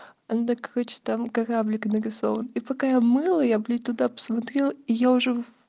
да короче там кораблик нарисован и пока я мыла я блять туда посмотрел и я уже в